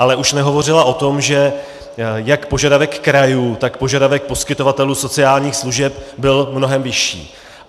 Ale už nehovořila o tom, že jak požadavek krajů, tak požadavek poskytovatelů sociálních služeb byl mnohem vyšší.